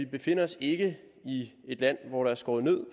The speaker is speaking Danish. befinder os i et land hvor der er skåret ned